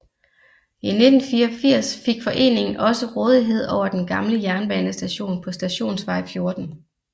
I 1984 fik foreningen også rådighed over den gamle jernbanestation på Stationsvej 14